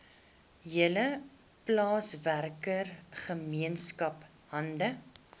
hele plaaswerkergemeenskap hande